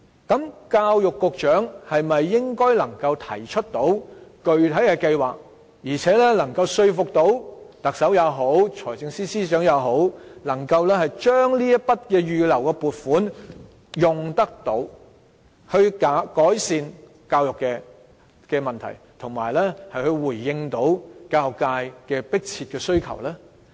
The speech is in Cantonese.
那麼教育局局長能否提出具體計劃，並說服特首或財政司司長運用這筆預留撥款來改善教育問題，以及回應教育界的迫切需求呢？